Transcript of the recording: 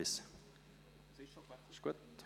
– Jetzt ist es gut.